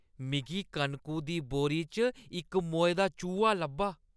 मिगी कनकु दी बोरी च इक मोए दा चूहा लब्भा।